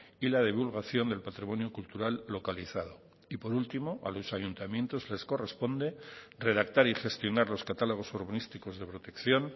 y la divulgación del patrimonio cultural localizado y por último a los ayuntamientos les corresponde redactar y gestionar los catálogos urbanísticos de protección